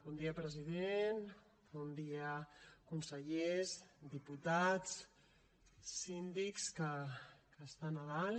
bon dia president bon dia consellers diputats síndics que estan a dalt